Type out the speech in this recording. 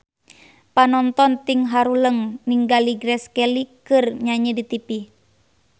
Panonton ting haruleng ningali Grace Kelly keur nyanyi di tipi